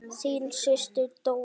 Þín systir, Dóra.